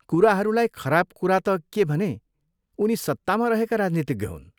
कुराहरूलाई खराब कुरा त के भने उनी सत्तामा रहेका राजनीतिज्ञ हुन्।